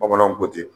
Bamananw ko ten